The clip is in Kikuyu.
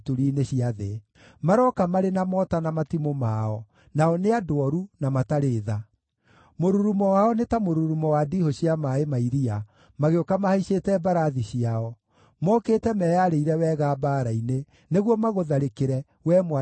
Marooka marĩ na mota na matimũ mao; nao nĩ andũ ooru, na matarĩ tha. Mũrurumo wao nĩ ta mũrurumo wa ndiihũ cia maaĩ ma iria, magĩũka mahaicĩte mbarathi ciao; mokĩte meyarĩire wega mbaara-inĩ nĩguo magũtharĩkĩre, wee Mwarĩ ũyũ wa Babuloni.